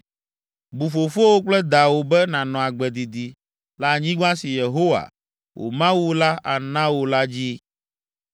Bu fofowò kple dawò be nànɔ agbe didi le anyigba si Yehowa, wò Mawu la ana wò la dzi.